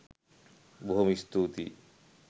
බොහොම ස්තූතියි